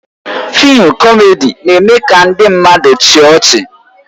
Fịịm kọmedi na-eme ka ndị mmadụ chịa ọchị